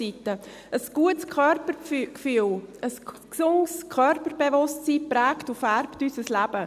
Ein gutes Körpergefühl und ein gesundes Körperbewusstsein prägen und färben unser Leben.